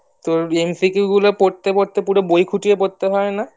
তোর MCQ গুলা পড়তে পড়তে পুরো বই খুঁটিয়ে পড়তে হয়না